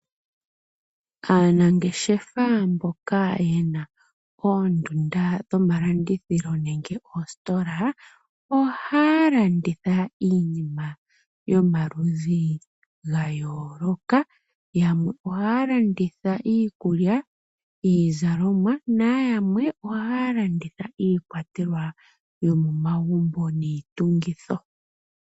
Aanangeshefa mboka ye na oondunda dhomalandithilo nenge oositola, ohaya landitha iinima yomaludhi ga yooloka. Yamwe ohaya landitha iikulya, iizalomwa nayamwe ohaya landitha iikwatelwa yomomagumbo niitungitho.